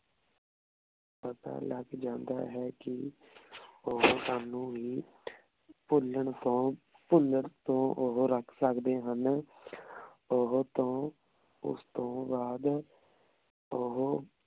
ਪਤਾ ਲਾਗ ਜਾਂਦਾ ਹੈ ਕੀ ਓਹੋ ਸਾਨੂ ਵੀ ਭੁਲਣ ਤੋਂ ਭੁਲਣ ਤੋਂ ਓਹੋ ਰਖ ਸਕਦੇ ਹਨ ਓਹੋ ਤੋਂ ਓਸ ਤੋਂ ਬਾਅਦ ਓਹੋ